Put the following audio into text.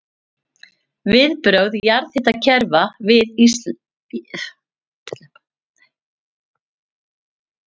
Viðbrögð jarðhitakerfa við vinnslu